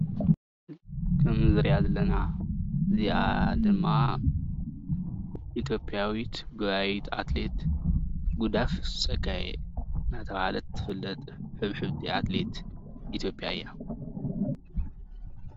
ከም እንሪአ ዘለና እዚኣ ድማ ኢትዮጵያዊት ጎያይት ኣትሌት ጉዳፍ ፀጋየ እንዳተባሃለት ትፍለጥ ናይ ሕብሕብቲ ኣትሌት ኢትዮጵያ እያ፡፡